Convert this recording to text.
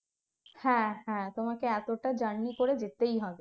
হ্যাঁ হ্যাঁ তোমাকে এতটা journey করে যেতেই হবে